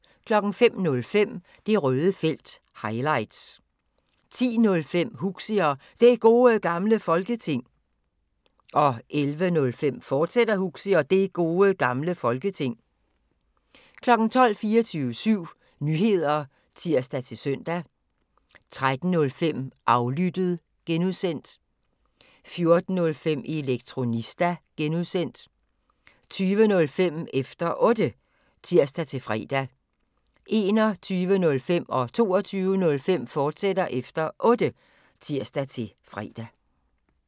05:05: Det Røde Felt – highlights 10:05: Huxi og Det Gode Gamle Folketing 11:05: Huxi og Det Gode Gamle Folketing, fortsat 12:00: 24syv Nyheder (tir-søn) 13:05: Aflyttet (G) 14:05: Elektronista (G) 20:05: Efter Otte (tir-fre) 21:05: Efter Otte, fortsat (tir-fre) 22:05: Efter Otte, fortsat (tir-fre)